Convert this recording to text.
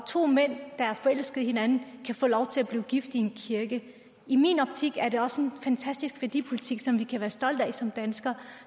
to mænd der er forelskede i hinanden kan få lov til at blive gift i en kirke i min optik er det også en fantastisk værdipolitik som vi kan være stolte af som danskere